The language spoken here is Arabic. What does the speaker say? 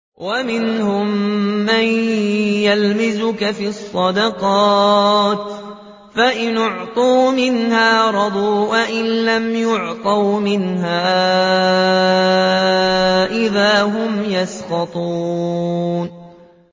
وَمِنْهُم مَّن يَلْمِزُكَ فِي الصَّدَقَاتِ فَإِنْ أُعْطُوا مِنْهَا رَضُوا وَإِن لَّمْ يُعْطَوْا مِنْهَا إِذَا هُمْ يَسْخَطُونَ